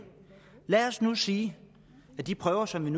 lad os nu sige at de prøver som man